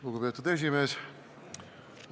Lugupeetud esimees!